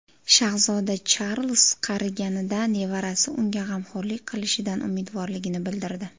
Shahzoda Charlz qariganida nevarasi unga g‘amxo‘rlik qilishidan umidvorligini bildirdi.